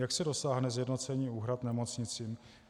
Jak se dosáhne sjednocení úhrad nemocnicím?